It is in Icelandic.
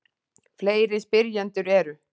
Fleiri spyrjendur eru: